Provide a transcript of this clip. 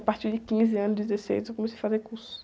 A partir de quinze anos, dezesseis, eu comecei a fazer cursos.